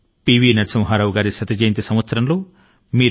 నరసింహా రావు గారి శత జయంతి సంవత్సరం లో మనందరం ఉన్నాము